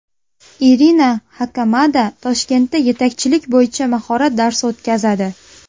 Irina Xakamada Toshkentda yetakchilik bo‘yicha mahorat darsi o‘tkazadi.